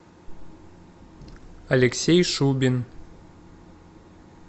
алексей шубин